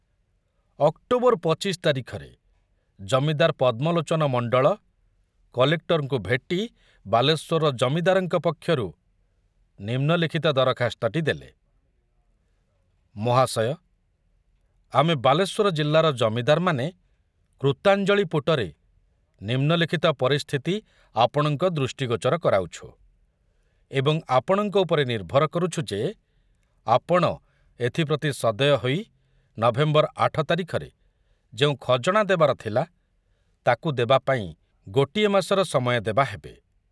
October ପଚିଶ ତାରିଖରେ ଜମିଦାର ପଦ୍ମଲୋଚନ ମଣ୍ଡଳ କଲେକ୍ଟରଙ୍କୁ ଭେଟି ବାଲେଶ୍ବରର ଜମିଦାରଙ୍କ ପକ୍ଷରୁ ନିମ୍ନଲିଖିତ ଦରଖାସ୍ତଟି ଦେଲେ। ମହାଶୟ, ଆମେ ବାଲେଶ୍ୱର ଜିଲ୍ଲାର ଜମିଦାରମାନେ କୃତାଞ୍ଜଳିପୁଟରେ ନିମ୍ନଲିଖିତ ପରିସ୍ଥିତି ଆପଣଙ୍କ ଦୃଷ୍ଟିଗୋଚର କରାଉଛୁ ଏବଂ ଆପଣଙ୍କ ଉପରେ ନିର୍ଭର କରୁଛୁ ଯେ ଆପଣ ଏଥପ୍ରତି ସଦୟ ହୋଇ ନଭେମ୍ବର ଆଠ ତାରିଖରେ ଯେଉଁ ଖଜଣା ଦେବାର ଥିଲା, ତାକୁ ଦେବାପାଇଁ ଗୋଟିଏ ମାସର ସମୟ ଦେବା ହେବେ